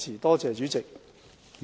多謝主席。